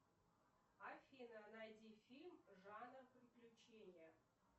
афина найди фильм жанр приключения